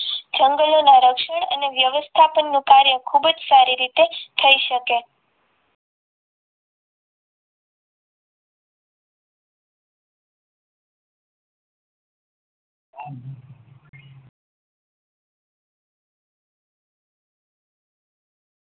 જંગલોના રક્ષણ અને વ્યવસ્થાપનનું કાર્ય ખૂબ જ સારી રીતે થઈ શકે